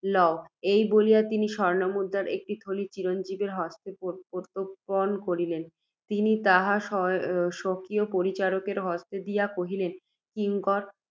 লও। এই বলিয়া, তিনি স্বর্ণমুদ্রার একটি থলী চিরঞ্জীবের হস্তে প্রত্যর্পণ করিলেন। তিনি তাহা স্ব~ স্বকীয় পরিচারকের হস্তে দিয়া কহিলেন, কিঙ্কর!